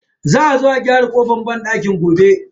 Za a zo a gyara kofan banɗakin gobe.